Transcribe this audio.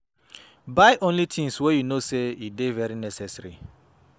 Buy only tins wey yu no sey e dey very necessary